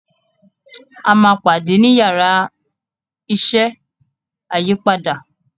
a má pàdé ní Yàrá iṣẹ́ ayípadà.